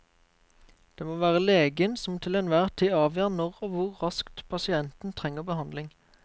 Det må være legen som til enhver tid avgjør når og hvor raskt pasienten trenger behandling.